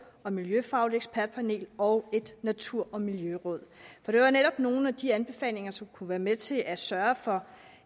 og miljøfagligt ekspertpanel og et natur og miljøråd for det var netop nogle af de anbefalinger som kunne være med til at sørge for